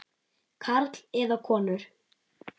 Karla eða konur.